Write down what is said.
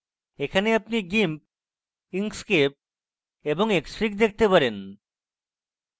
এখানে আপনি gimp inkscape এবং xfig দেখতে পারেন